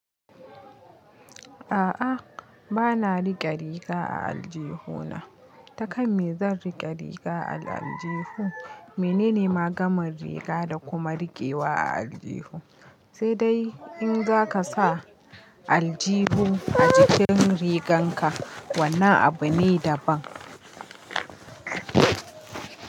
A'a bana rike riga a aljihuna. Ta kan me zan rike riga a aljihu? Menene magamar riga da kuma rikewa a aljihu? Sai dai in za ka sa aljihu a jikin riganka wannan abu ne daban.